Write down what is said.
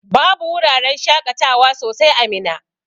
Babu wuraran shaƙatawa sosai a Minna.